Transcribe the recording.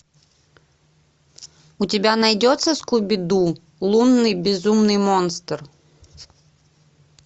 у тебя найдется скуби ду лунный безумный монстр